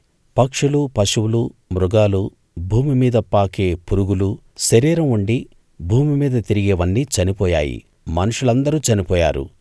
పక్షులు పశువులు మృగాలు భూమిమీద పాకే పురుగులు శరీరం ఉండి భూమిమీద తిరిగేవన్నీ చనిపోయాయి మనుషులందరూ చనిపోయారు